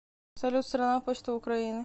салют страна почта украины